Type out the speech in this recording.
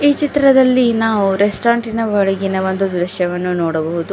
ಈ ಚಿತ್ರದಲ್ಲಿ ನಾವು ರೆಸ್ಟೋರೆಂಟಿನ ಒಳಗಿನ ಒಂದು ದೃಶ್ಯವನ್ನು ನೋಡಬಹುದು.